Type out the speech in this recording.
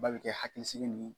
Ba be kɛ hakilisigi ni